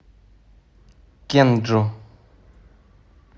кенджу